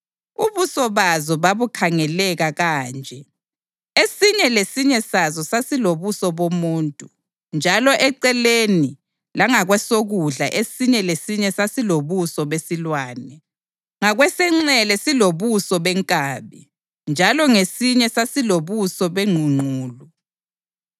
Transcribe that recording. Ubuso bazo babukhangeleka kanje: Esinye lesinye sazo sasilobuso bomuntu, njalo eceleni langakwesokudla esinye lesinye sasilobuso besilwane, ngakwesenxele silobuso benkabi; njalo ngasinye sasilobuso bengqungqulu.